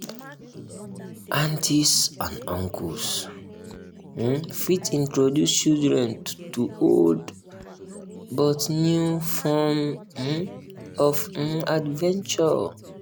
aunties and uncles um fit introduce childern to old but new form um of um adventure